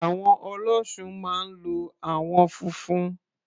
Àwọ̀n Ọlọ́ṣun máa ń lo àwọn funfun.